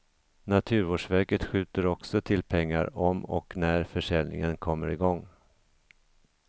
Naturvårdsverket skjuter också till pengar om och när försäljningen kommer i gång.